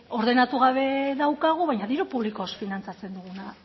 ordenatu gabe daukagu baina diru publikoz finantzatzen duguna